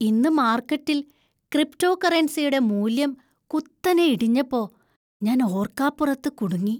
ഇന്ന് മാര്‍ക്കറ്റില്‍ ക്രിപ്‌റ്റോകറൻസിയുടെ മൂല്യം കുത്തനെ ഇടിഞ്ഞപ്പോ, ഞാൻ ഓര്‍ക്കാപ്പുറത്ത് കുടുങ്ങി.